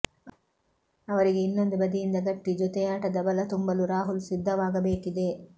ಅವರಿಗೆ ಇನ್ನೊಂದು ಬದಿಯಿಂದ ಗಟ್ಟಿ ಜೊತೆಯಾಟದ ಬಲ ತುಂಬಲು ರಾಹುಲ್ ಸಿದ್ಧವಾಗಬೇಕಿದೆ